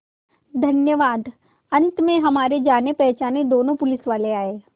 धन्यवाद अंत में हमारे जानेपहचाने दोनों पुलिसवाले आए